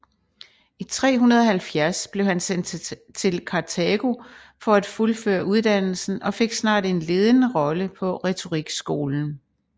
I 370 blev han sendt til Kartago for at fuldføre uddannelsen og fik snart en ledende rolle på retorikskolen